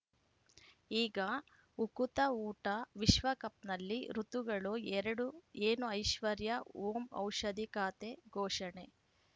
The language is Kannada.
ಈಗ ಉಕುತ ಊಟ ವಿಶ್ವಕಪ್‌ನಲ್ಲಿ ಋತುಗಳು ಎರಡು ಏನು ಐಶ್ವರ್ಯಾ ಓಂ ಔಷಧಿ ಖಾತೆ ಘೋಷಣೆ